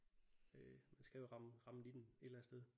Øh man skal jo ramme ramme nitten et eller andet sted